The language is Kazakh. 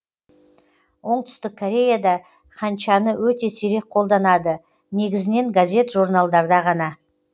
оңтүстік кореяда ханчаны өте сирек қолданады негізінен газет журналдарда ғана